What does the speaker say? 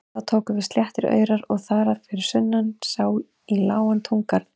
Þá tóku við sléttir aurar og þar fyrir sunnan sá í lágan túngarð.